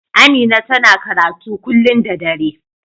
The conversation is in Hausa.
Amina ta na karatu kullun da dare.